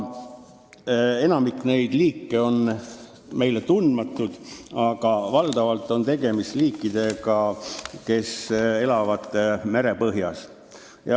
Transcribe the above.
Enamik on meile tundmatud, aga valdavalt on tegemist liikidega, kes elavad mere põhjas.